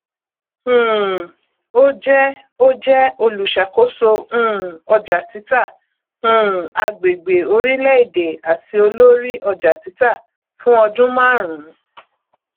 um ó jẹ ó jẹ olùṣàkóso um ọjàtítà um agbègbè orílẹèdè àti olórí ọjàtítà fún ọdún márùn